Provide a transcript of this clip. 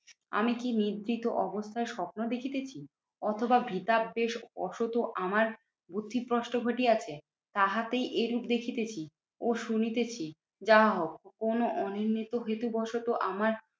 আমি কি নিদ্রিত অবস্থায় স্বপ্ন দেখিতেছি? অথবা ভৃতাবেশ অসৎ ও আমার বুদ্ধিভ্রষ্ট ঘটিয়াছে তাহাতেই এরূপ দেখিতেছি ও শুনিতেছি। যাহাহোক কোনো অনির্ণীত হেতু বশত আমার